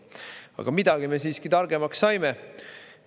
Aga midagi me siiski targemaks saime.